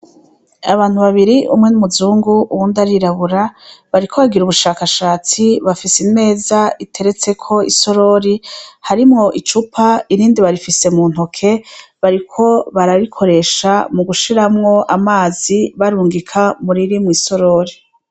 Abantu babiri, umwe ni umuzungu uyundi arirabura, bariko bagira ubushakashatsi, bafise imeza iteretseko isorori harimwo icupa, irindi barifise mu ntoke bariko bararikoresha mu gushiramwo amazi barungika muriri mw'isorori.